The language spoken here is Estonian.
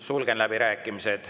Sulgen läbirääkimised.